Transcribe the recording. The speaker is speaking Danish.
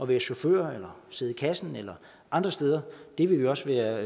være chauffør eller sidde i kassen eller andre steder det ville vi også være